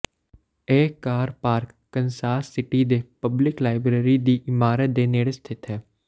ਇਹ car park Kansas City ਦੇ public library ਦੀ ਇਮਾਰਤ ਦੇ ਨੇੜੇ ਸਥਿਤ ਹੈ